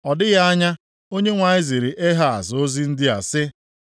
Ọ dịghị anya, Onyenwe anyị ziri Ehaz ozi ndị a sị,